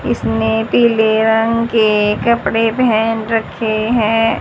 इसने पीले रंग के कपड़े पहेन रखे हैं।